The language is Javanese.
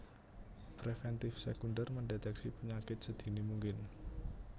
Preventif Sekunder Mendeteksi penyakit sedini mungkin